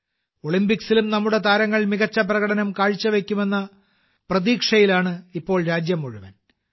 ഒളിമ്പിക്സിലും നമ്മുടെ താരങ്ങൾ മികച്ച പ്രകടനം കാഴ്ചവെക്കുമെന്ന പ്രതീക്ഷയിലാണ് ഇപ്പോൾ രാജ്യം മുഴുവൻ